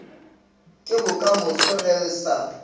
ke bokamoso ge re sa